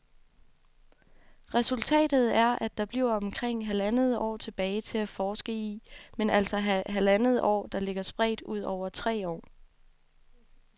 Resultatet er, at der bliver omkring halvandet år tilbage til at forske i, men altså halvandet år der ligger spredt ud over tre år.